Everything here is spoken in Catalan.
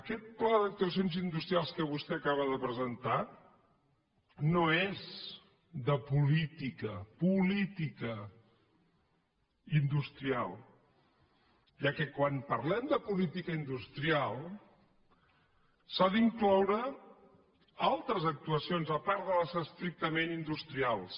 aquest pla d’actuacions industrials que vostè acaba de presentar no és de política política industrial ja que quan parlem de política industrial s’hi han d’incloure altres actuacions a part de les estrictament industrials